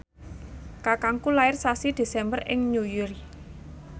kakangku lair sasi Desember ing Newry